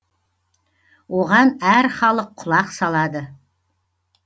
оған әр халық құлақ салады